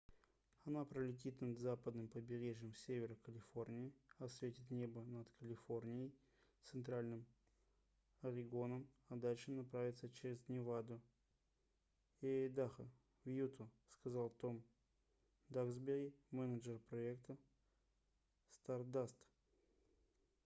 она пролетит над западным побережьем севера калифорнии осветит небо над калифорнией центральным орегоном а дальше направится через неваду и айдахо в юту - сказал том даксбери менеджер проекта стардаст